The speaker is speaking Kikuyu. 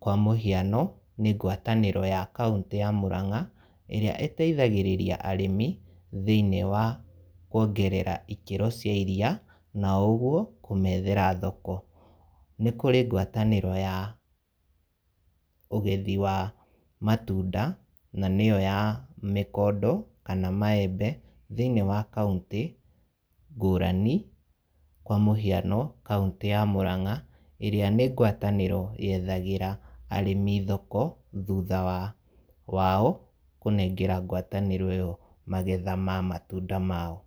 kwa mũhiano nĩ ngwatanĩro ya kauntĩ ya Murang’a, ĩrĩa ĩteithagĩrĩria arĩmi, thinĩ wa kuongerera ikĩro cia iria, na ũguo, kũmethera thoko. Nikũrĩ ngwatanĩro ya ũgethi wa matunda, na nĩyo ya mĩkondo, kana maembe, thĩinĩ wa kauntĩ ngũrani, kwa mũhiano, kaũntĩ ya Muran’ga, ĩrĩa nĩ ngwatanĩro yethagĩra arĩmi thoko, thutha wa wao, kũnengerana ngwatanĩro ĩyo magetha ma matunda mao.